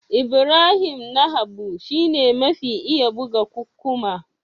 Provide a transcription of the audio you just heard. Ibrahim Na Habu shi ne mafi iya buga kukkuma.